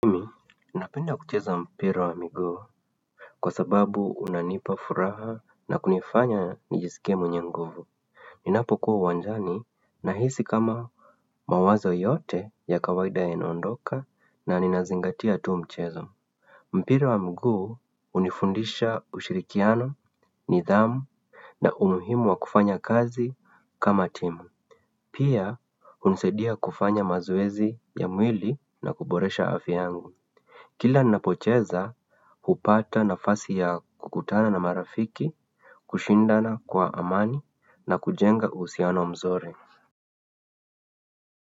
Napenda kucheza mpira wa miguu kwa sababu unanipa furaha na kunifanya nijisike mwenye nguvu. Ninapo kuwa uwanjani na hisi kama mawazo yote ya kawaida yanaondoka na ninazingatia tu mchezo. Mpira wa miguu hunifundisha ushirikiano, nidhamu na umuhimu wa kufanya kazi kama timu. Pia hunisadia kufanya mazoezi ya mwili na kuboresha afya yangu. Kila napocheza hupata na fasi ya kukutana na marafiki, kushindana kwa amani na kujenga uhusiano mzuri.